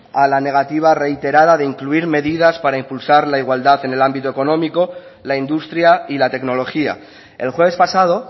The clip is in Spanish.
a la medida reiterada de incluir medidas para impulsar la igualdad en el ámbito económico la industria y la tecnología el jueves pasado